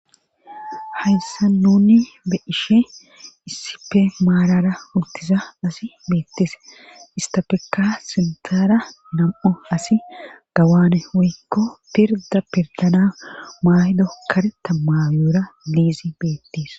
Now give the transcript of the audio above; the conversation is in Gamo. hayssa nuni be ishe issipe maarara hultisa asi beettese istapeka siltara nam7o asi gawaane woykko pirda pirdana maaydo kareta mayoora liizi beettiis